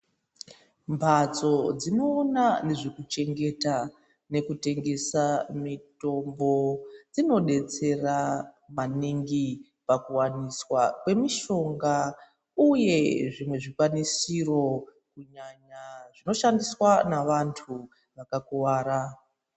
Mbatso dzinoona nezvekuchengeta nekutengesa mitombo ,dzinodetsera maningi, pakuwaniswa kwemishonga, uye zvimwe zvikwanisiro , kunyanya zvinoshandiswa nevantu vakakuwara.